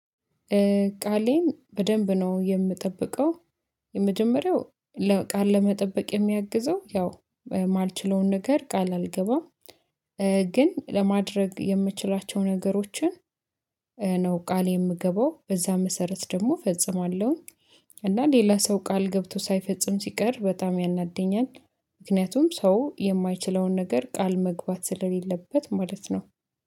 ቃሌን በደንብ ነው የምጠብቀው። የመጀመሪያው ቃል ለመጠበቅ የሚያግዘው ያው የማልችለውን ነገር ቃል አልገባም። ግን ለማድረግ የምችላቸውን ነገሮችን። ነው ቃል የምገባው በዛ መሰረት ደግሞ እፈጽማለሁኝ። እና ሌላ ሰው ቃል ገብቶ ሳይፈጽም ሲቀር በጣም ያናድኛል። ምክንያቱም ሰው የማይችለውን ነገር ቃል መግባት ስለሌለበት ማለት ነው